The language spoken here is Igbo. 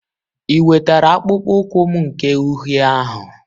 I wetara akpụkpọ ụkwụ m nke uhie ahụ?